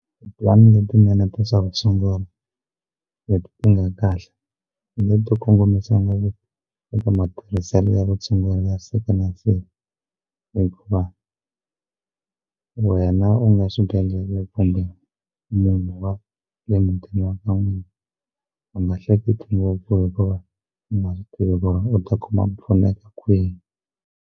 Ti-plan letinene ta swa vutshunguri leti ti nga kahle leti ti kongomisiwa eka matirhiselo ya vutshunguri ya siku na siku hikuva wena u nga xibedhlele kumbe munhu wa le mutini ka n'wina u nga hleketi ngopfu hikuva u ta kuma ku pfuneka kwihi.